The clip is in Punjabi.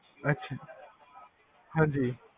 ਅਛਾ, ਹਾਂਜੀ